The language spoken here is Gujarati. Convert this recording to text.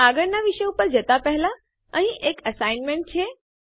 આગળનાં વિષય ઉપર જતા પહેલા અહીં એક અસાઇનમેન્ટ છે